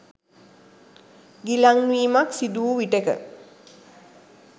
ගිලන්වීමක් සිදු වූ විටෙක